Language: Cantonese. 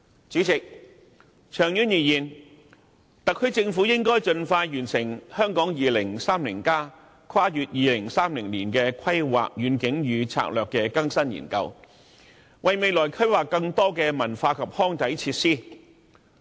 主席，長遠而言，特區政府應該盡快完成《香港 2030+： 跨越2030年的規劃遠景與策劃》的更新研究，為未來規劃更多文化及康體設施。